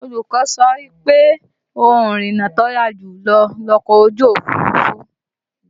Olùkọ́ wa sọ pé ohun ìrìnnà tó yára jùlọ ni ọkọ̀ ojú Òfurufú